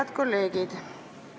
Head kolleegid!